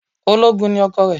Ológun ni ọkọ rẹ̀